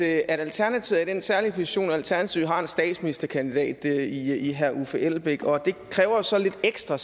at alternativet har den særlige position at alternativet har en statsministerkandidat i i herre uffe elbæk og det kræver så lidt ekstra